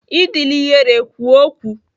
Adịla ihere kwuo okwu!